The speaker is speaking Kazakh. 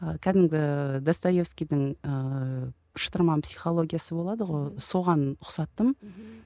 кәдімгі достаевскийдің ыыы шытырман психологиясы болады ғой соған ұқсаттым мхм